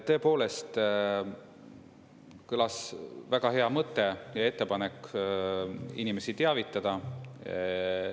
Tõepoolest kõlas väga hea mõte ja ettepanek inimesi teavitada.